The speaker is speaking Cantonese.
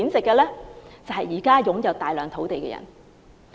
就是現時擁有大量土地的人。